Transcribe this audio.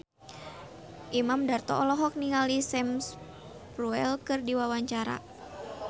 Imam Darto olohok ningali Sam Spruell keur diwawancara